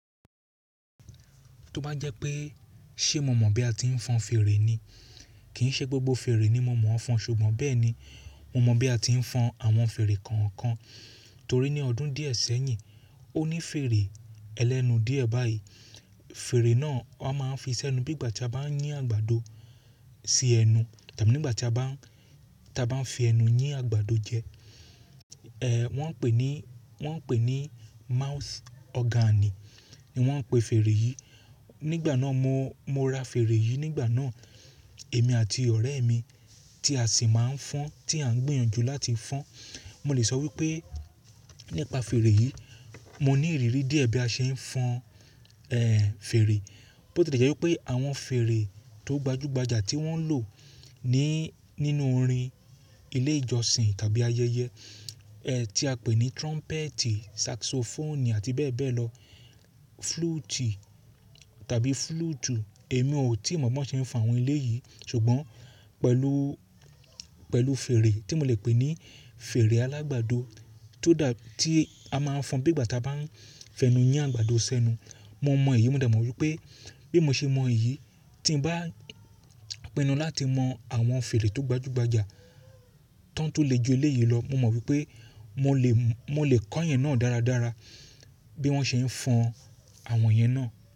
Tó bá jẹ́ pé ṣe mo mọ̀ bí a ti ń fọn fèrè ni, kì í ṣe gbogbo fèrè ni mo mọ̀ ọ́n fọn ṣùgbọ́n bẹ́ẹ̀ ni, mo mọ bí a ti ń fọn àwọn fèrè kọ̀ọ̀kan torí ní ọdún díẹ̀ sẹ́yìn ó ní fèrè ẹlẹ́nu díẹ̀ báyìí. Fèrè náà wa máa ń fi sẹ́nu bí ìgbà tí a bá ń yín àgbàdo sí ẹnu tàbí nígbà tí a bá ń, tí a bá ń fi ẹnu yín àgbàdo jẹ. Wọ́n ń pè ní, wọ́n ń pè ní mouth organ ni wọ́n ń pe fèrè yìí. Nígbà náà mo, mo ra fèrè yìí nígbà náà, èmi àti ọ̀rẹ́ mi tí a sì máa ń fọn tí a ń gbìyànjú láti fọn. Mo lè sọ wípé nípa fèrè yìí mo ní ìrírí díẹ̀ bí a ṣe ń fọn fèrè. Bó tì lè jẹ́ wípé àwọn fèrè tó gbajúgbajà tí wọ́n lò ní, nínú orin ilé ìjọsìn tàbí ayẹyẹ ẹ́ tí a pè ní trumpet, saxophone àti bẹ́ẹ̀ bẹ́ẹ̀ lọ, flute tàbí flute èmi ò tíì mọ̀ bó ṣe ń fọn àwọn eleyìí ṣùgbọ́n pẹ̀lú, pẹ̀lú fèrè tí mo lè pè ní fèrè alágbàdo tó dà, tí a máa ń fọn bí ìgbà tí a bá ń fi ẹnu yín àgbàdo sẹ́nu. Mo mọ èyí, mo dà mọ wípé bí mo ṣe mọ èyí tí ń bá pinu láti mọ àwọn fèrè tó gbajúgbajà tán tu le ju eleyìí lọ. Mo mọ wípé mo lè, mo lè kọ́ iyẹn náà dára dára, bí wọ́n ṣe ń fọn àwọn yẹn náà.